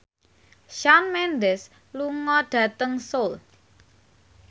Shawn Mendes lunga dhateng Seoul